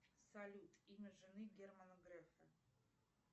салют имя жены германа грефа